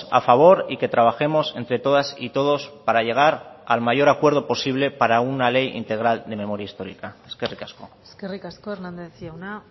a favor y que trabajemos entre todas y todos para llegar al mayor acuerdo posible para una ley integral de memoria histórica eskerrik asko eskerrik asko hernández jauna